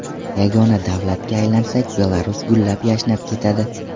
Yagona davlatga aylansak Belarus gullab-yashnab ketadi.